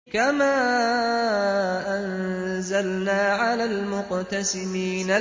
كَمَا أَنزَلْنَا عَلَى الْمُقْتَسِمِينَ